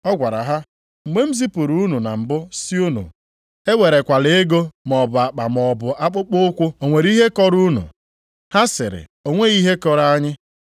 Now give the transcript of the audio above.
Ọ gwara ha, “Mgbe m zipụrụ unu na mbụ sị unu ewerekwala ego, maọbụ akpa maọbụ akpụkpọụkwụ, o nwere ihe kọrọ unu?” Ha sịrị, “O nweghị ihe kọrọ anyị.”